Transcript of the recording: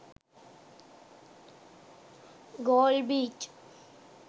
galle beach